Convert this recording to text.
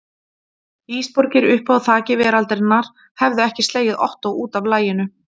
Ísborgir uppi á þaki veraldarinnar hefðu ekki slegið Ottó útaf laginu.